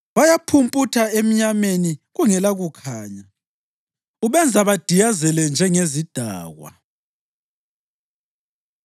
Bayaphumputha emnyameni kungelakukhanya; ubenza badiyazele njengezidakwa.”